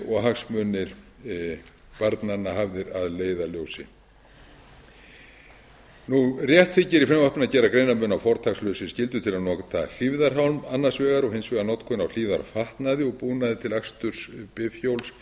og hagsmunir barnanna hafðir að leiðarljósi rétt þykir í frumvarpinu að gera greinarmun á fortakslausri skyldu til að nota hlífðarhjálm annars vegar og hins vegar notkun á hlífðarfatnaði og búnaði til aksturs